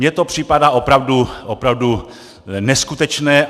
Mně to připadá opravdu neskutečné.